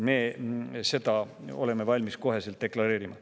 Me oleme seda kohe valmis deklareerima.